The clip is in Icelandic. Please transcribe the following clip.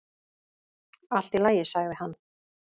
"""Allt í lagi, sagði hann."""